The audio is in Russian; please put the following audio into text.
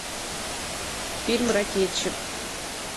фильм ракетчик